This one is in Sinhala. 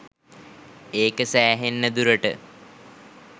ඒක සැහෙන්න දුරට